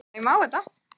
Er vatnið blautt?